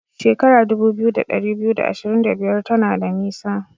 Shekara dubu biyu da dari biyu da ashirin da biyar tana da nisa.